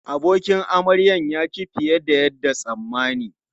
Abokin amaryan ya ci fiye da yadda tsammani.